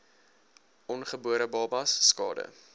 ongebore babas skade